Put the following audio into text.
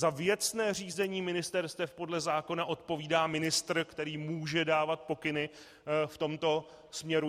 Za věcné řízení ministerstev podle zákona odpovídá ministr, který může dávat pokyny v tomto směru.